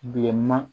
Bilenman